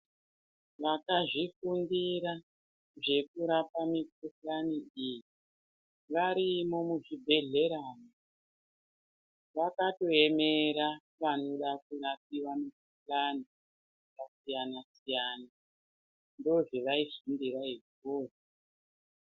Vakazvifundira zvekurapa mikuhlani iyi varimo muzvibhehlera vakatoemera vanoda kurapiwa mikuhlani yakasiyana siyana ndizvavai fundira izvozvo.